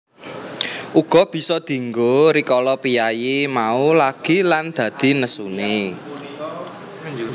Uga bisa dienggo rikala piyayi mau lagi lan dadi nesune